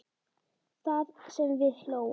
Það sem við hlógum.